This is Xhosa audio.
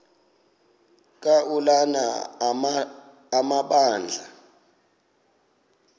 ka ulana amabandla